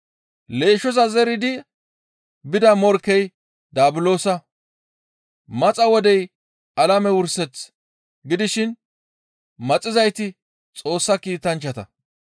Leeshshoza zeridi bida morkkey Daabulosa. Maxa wodey alame wurseth gidishin maxizayti Xoossa kiitanchchata.